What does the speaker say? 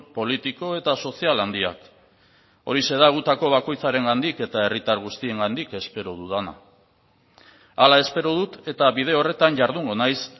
politiko eta sozial handiak horixe da gutako bakoitzarengandik eta herritar guztiengandik espero dudana hala espero dut eta bide horretan jardungo naiz